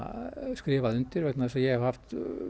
skrifað undir vegna þess að ég hef haft